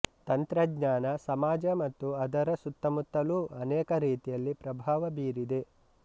ತಂತ್ರಜ್ಞಾನ ಸಮಾಜ ಮತ್ತು ಅದರ ಸುತ್ತಮುತ್ತಲು ಅನೇಕ ರೀತಿಯಲ್ಲಿ ಪ್ರಭಾವ ಬೀರಿದೆ